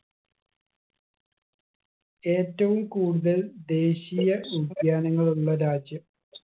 ഏറ്റവും കൂടുതൽ ദേശീയ ഉദ്യാനങ്ങൾ ഉള്ള രാജ്യം